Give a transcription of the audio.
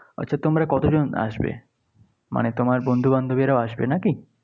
আচ্ছা তোমরা কতজন আসবে? মানে তোমার বন্ধুবান্ধবীরাও আসবে নাকি?